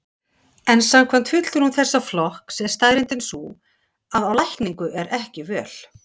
En samkvæmt fulltrúum þessa flokks er staðreyndin sú að á lækningu er ekki völ.